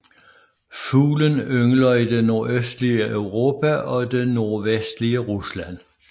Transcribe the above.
Fuglen yngler i det nordøstlige Europa og det nordvestlige Rusland